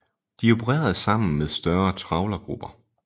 De opererede sammen med større trawlergrupper